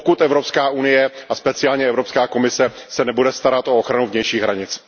Pokud Evropská unie a speciálně Evropská komise se nebude starat o ochranu vnějších hranic.